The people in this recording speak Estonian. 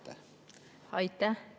Aitäh!